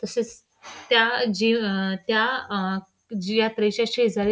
तसेच त्या जी अ त्या अ जी यात्रेच्या शेजारी --